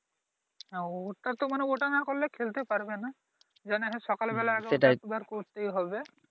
নাও ওটাতো মানে ওটা নাহ করলে খেলতে পারবে নাহ জানো হ্যাঁ সকাল বেলা একবার দুইবার করতেই হবে